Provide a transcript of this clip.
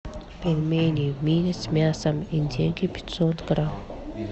пельмени мини с мясом индейки пятьсот грамм